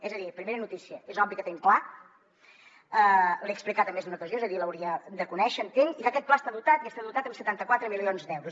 és a dir primera notícia és obvi que tenim pla l’he explicat en més d’una ocasió és a dir l’hauria de conèixer entenc i que aquest pla està dotat i està dotat amb setanta quatre milions d’euros